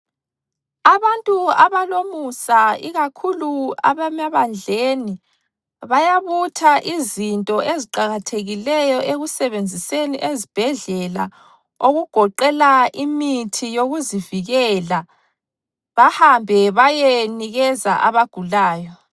Abantu abalomusa ikakhulu abemabandleni bayabutha izinto eziqakathekileyo ekusebenziseni ezibhedlela okugoqela imithi yokuzivikela bahambe bayenikeza abagulayo.